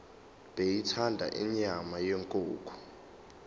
beyithanda inyama yenkukhu